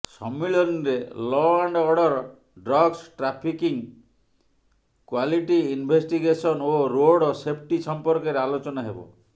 ସମ୍ମିଳନୀରେ law and order drugs trafficking quality investigation ଓ road safety ସମ୍ପର୍କରେ ଆଲୋଚନା ହେବ